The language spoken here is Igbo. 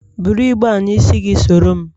Bụrụ igbe a n'isi gị soro m!